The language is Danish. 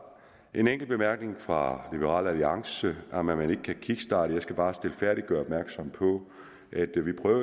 en enkelt bemærkning fra liberal alliance om at man ikke kan kickstarte jeg skal bare stilfærdigt gøre opmærksom på